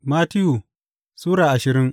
Mattiyu Sura ashirin